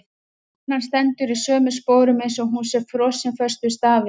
Konan stendur í sömu sporum eins og hún sé frosin föst við stafinn.